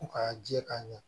Ko k'a jɛ k'a ɲɛ